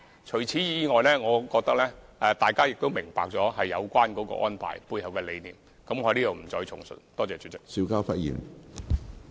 除此之外，我相信大家也明白有關安排的背後理念，我在此不再複述。